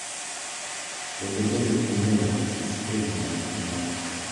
Kendo bedo gi ng’eyo matut e wi ng’ato ka ng’ato.